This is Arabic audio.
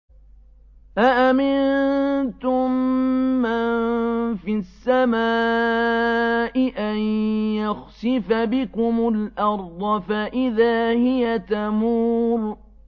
أَأَمِنتُم مَّن فِي السَّمَاءِ أَن يَخْسِفَ بِكُمُ الْأَرْضَ فَإِذَا هِيَ تَمُورُ